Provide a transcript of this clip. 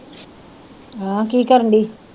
ਹਾਂ ਕੀ ਕਰਨਡੀ